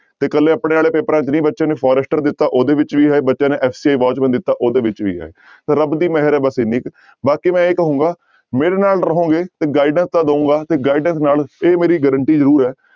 ਤੇ ਇਕੱਲੇ ਆਪਣੇ ਵਾਲੇ ਪੇਪਰਾਂ ਚ ਨਹੀਂ ਬੱਚੇ ਨੇ forester ਦਿੱਤਾ ਉਹਦੇ ਵਿੱਚ ਵੀ ਹੈ ਬੱਚੇ ਨੇ SA watchman ਦਿੱਤਾ ਉਹਦੇ ਵਿੱਚ ਵੀ ਹੈ ਰੱਬ ਦੀ ਮਿਹਰ ਹੈ ਬਸ ਇੰਨੀ ਕੁ ਬਾਕੀ ਮੈਂ ਇਹ ਕਹਾਂਗਾ ਮੇਰੇ ਨਾਲ ਰਹੋਗੇ ਤੇ guidance ਤਾਂ ਦਊਂਗਾ ਤੇ guidance ਨਾਲ ਇਹ ਮੇਰੀ guarantee ਜ਼ਰੂਰ ਹੈ